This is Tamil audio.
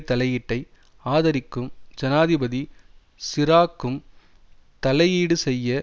தலையீட்டை ஆதரிக்கும் ஜனாதிபதி சிராக்கும் தலையீடு செய்ய